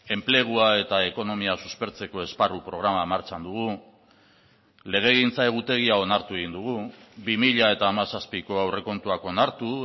enplegua eta ekonomia suspertzeko esparru programa martxan dugu legegintza egutegia onartu egin dugu bi mila hamazazpiko aurrekontuak onartu